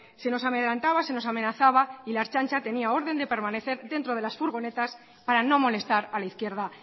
se nos amedrentaba se nos amenazaba y la ertzaintza tenía orden de permanecer dentro de las furgonetas para no molestar a la izquierda